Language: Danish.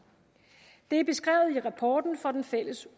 det er beskrevet i rapporten fra den fælles